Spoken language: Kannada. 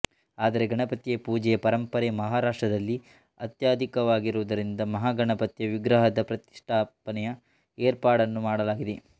ಆದರೆ ಗಣಪತಿಯ ಪೂಜೆಯ ಪರಂಪರೆ ಮಹಾರಾಷ್ಟ್ರದಲ್ಲಿ ಅತ್ಯಧಿಕವಾಗಿರುವುದರಿಂದ ಮಹಾಗಣಪತಿಯ ವಿಗ್ರಹದ ಪ್ರತಿಷ್ಠಾಪನೆಯ ಏರ್ಪಾಡನ್ನು ಮಾಡಲಾಗಿದೆ